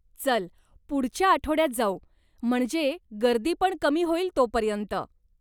चल पुढच्या आठवड्यात जाऊ, म्हणजे गर्दीपण कमी होईल तोपर्यंत.